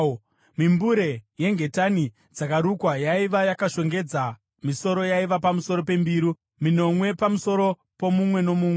Mimbure yengetani dzakarukwa yaiva yakashongedza misoro yaiva pamusoro pembiru, minomwe pamusoro pomumwe nomumwe.